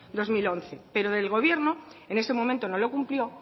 dos mil once pero el gobierno en ese momento no lo cumplió